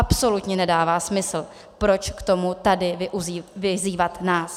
Absolutně nedává smysl, proč k tomu tady vyzývat nás.